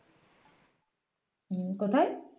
উম কোথায়